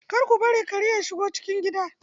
Kar ku bari kare ya shigo cikin gida.